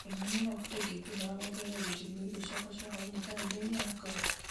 kĩmani no ũhote ingĩkũhoya wongerere ũgitĩri wa irio ciakwa cia hwaĩinĩ karenda-inĩ yakwa